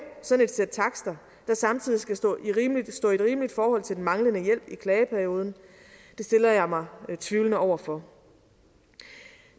sådan et sæt takster der samtidig skal stå i et rimeligt forhold til den manglende hjælp i klageperioden det stiller jeg mig tvivlende over for